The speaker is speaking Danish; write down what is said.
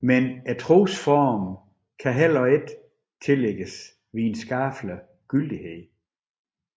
Men trosformerne kan heller ikke tillægges videnskabelig gyldighed